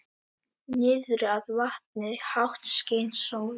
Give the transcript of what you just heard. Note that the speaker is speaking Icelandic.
Niðrað vatni, hátt skein sól.